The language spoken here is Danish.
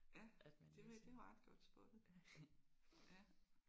Ja det vil det er jo ret godt spottet